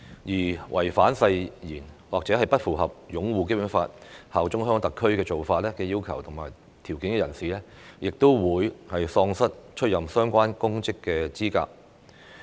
任何人士如違反誓言，或不符合擁護《基本法》、效忠香港特區的要求和條件，即喪失出任相關公職的資格。